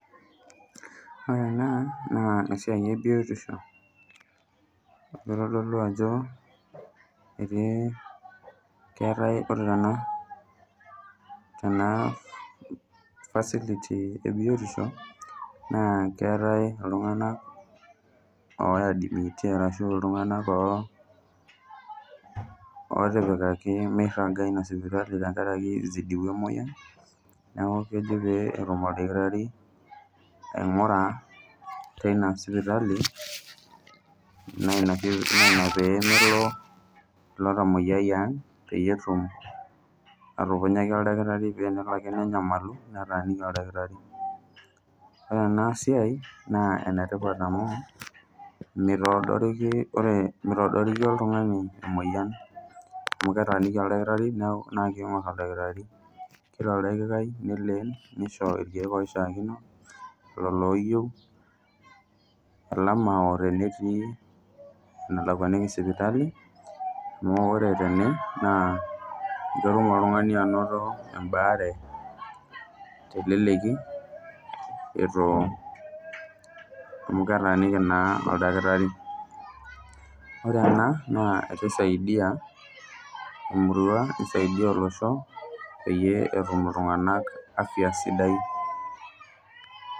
Ore ena naa esiai ebitisho amu itodolu ajo ore ena naa ena facility ebiotisho naa keetae iltunganak oadimiti ashu iltunganak otipikaki miraga inasipitali tenkaraki izidiwa emoyian ,niaku kejo petumoldakitari aingura teina sipitali naa inapemelo ilotamoyiai ang peyie etum atukunyaki oldakitari peyie tenelo ake nenyamalu netaaniki oldakitari. Ore enasiai naa enetipat amu mitoodoriki , ore mitodoriki oltungani emoyian amu ketaaniki oldakitari naa kingor oldakitari kila oldakitari neleen nisho irkiek oishiakino lolo oyieu elama tenetii elakwaniki sipitali amu ore tene ketum naa oltungani anoto embaare teleleki amu ketaaniki naa oldakitari .Ore ena naa kisaidia emurua naa kisaidia olosho peyie etum iltunganak afya sidai.